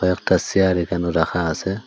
একটা সেয়ার এখানু রাখা আসে।